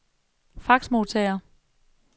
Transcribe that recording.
faxmodtager